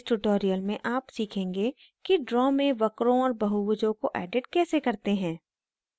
इस tutorial में आप सीखेंगे कि draw में वक्रों और बहुभुजों को edit कैसे करते हैं